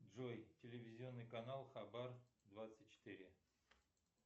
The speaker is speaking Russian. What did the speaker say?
джой телевизионный канал хабар двадцать четыре